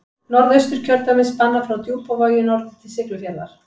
Norðausturkjördæmi spannar frá Djúpavogi norður til Siglufjarðar.